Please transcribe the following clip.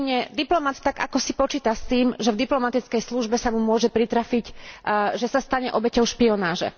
úprimne, diplomat tak akosi počíta s tým, že v diplomatickej službe sa mu môže pritrafiť, že sa stane obeťou špionáže.